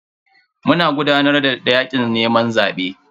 Muna gudanar da yakin neman zabe.